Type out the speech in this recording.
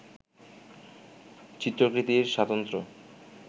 চিত্রকৃতির স্বাতন্ত্র্য